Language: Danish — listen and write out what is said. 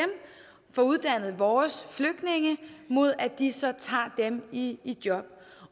får uddannet vores flygtninge mod at de så tager dem i job